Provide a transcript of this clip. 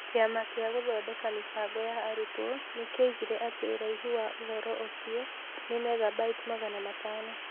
Kĩama gĩa Gũthondeka Mĩbango ya Arutwo nĩ kĩoigire atĩ ũraihu wa ũhoro ũcio nĩ megabyte magana matano